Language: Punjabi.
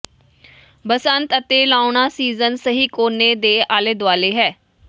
ਬਸੰਤ ਅਤੇ ਲਾਉਣਾ ਸੀਜ਼ਨ ਸਹੀ ਕੋਨੇ ਦੇ ਆਲੇ ਦੁਆਲੇ ਹੈ